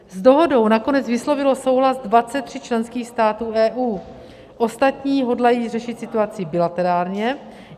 S dohodou nakonec vyslovilo souhlas 23 členských států EU, ostatní hodlají řešit situaci bilaterálně.